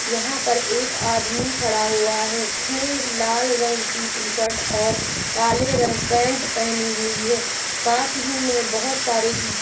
यहां पर एक आदमी खड़ा हुआ है जिसने लाल रंग की टीशर्ट और काले रंग पैंट पहनी हुई है पास ही मे बहुत सारे ईट--